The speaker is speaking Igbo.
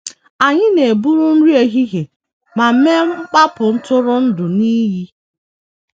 Anyị na - eburu nri ehihie ma mee mkpapụ ntụrụndụ n’iyi.